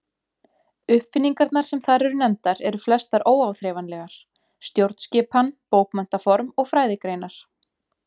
Uppfinningarnar sem þar eru nefndar eru flestar óáþreifanlegar: stjórnskipan, bókmenntaform og fræðigreinar.